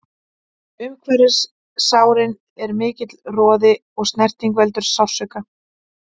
Umhverfis sárin er mikill roði og snerting veldur sársauka.